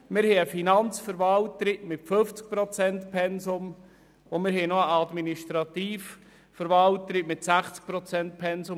Wir haben eine Finanzverwalterin mit einem 50 Prozent-Pensum, und wir haben noch eine Administrativverwalterin mit einem 60 Prozent-Pensum.